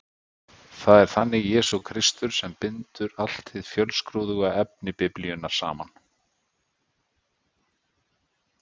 Það er þannig Jesús Kristur sem bindur allt hið fjölskrúðuga efni Biblíunnar saman.